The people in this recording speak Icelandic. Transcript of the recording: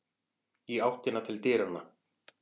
Í áttina til dyranna.